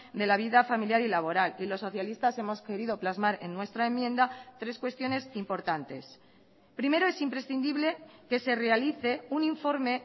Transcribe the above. de la vida familiar y laboral y los socialistas hemos querido plasmar en nuestra enmienda tres cuestiones importantes primero es imprescindible que se realice un informe